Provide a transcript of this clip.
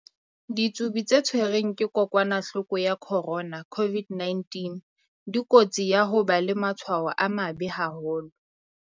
Ditsubi tse tshwerweng ke kokwa-nahloko ya corona, COVID-19, dikotsing ya ho ba le matshwao a mabe haholo.